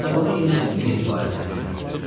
İsabala yenə Meri barəsində düşünürdü.